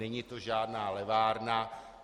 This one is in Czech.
Není to žádná levárna.